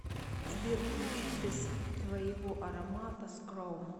сбер включи без твоего аромата скром